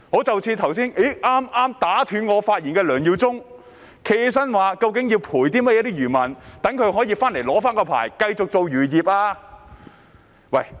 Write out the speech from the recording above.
正如剛才打斷我發言的梁耀忠議員，他便問到要給予漁民甚麼賠償，又如何讓他們領回牌照繼續經營漁業。